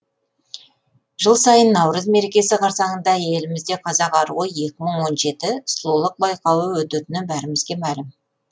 жыл сайын наурыз мерекесі қарсаңында елімізде қазақ аруы екі мың он жеті сұлулық байқауы өтетіні бәрімізге мәлім